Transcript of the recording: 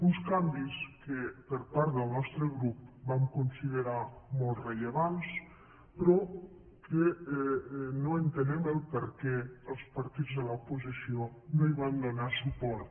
uns canvis que per part del nostre grup vam considerar molt rellevants però que no entenem per què els partits de l’oposició no hi van donar suport